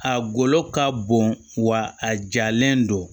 A golo ka bon wa a jalen don